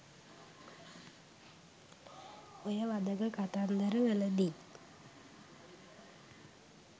ඔය වධක කතන්දර වලදි